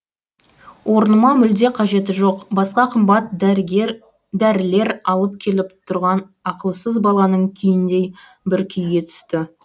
орнына мүлде қажеті жоқ басқа қымбат дәрілер алып келіп тұрған ақылсыз баланың күйіндей бір күйге түсті